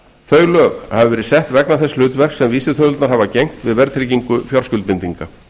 þau lög hafa verið sett vegna þess hlutverks sem vísitölurnar hafa gegnt við verðtryggingu fjárskuldbindinga